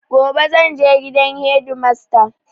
Gobe zanje gidan hedimasta